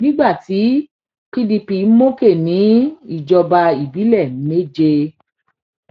nígbà tí pdp mókè ní ìjọba ìbílẹ méje